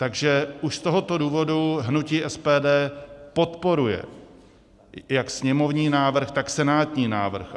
Takže už z tohoto důvodu hnutí SPD podporuje jak sněmovní návrh, tak senátní návrh.